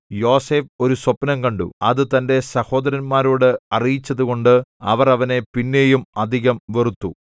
യോസേഫ് ഒരു സ്വപ്നം കണ്ടു അത് തന്റെ സഹോദരന്മാരോട് അറിയിച്ചതുകൊണ്ട് അവർ അവനെ പിന്നെയും അധികം വെറുത്തു